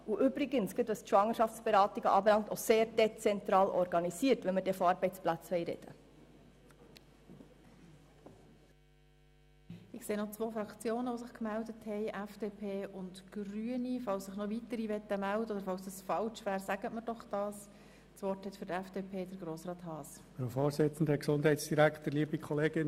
Übrigens sind sie, gerade was die Schwangerschaftsberatung betrifft, sehr dezentral organisiert, wenn wir schon über Arbeitsplätze sprechen wollen.